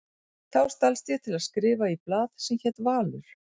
Þá stalst ég til að skrifa í blað sem hét Valur.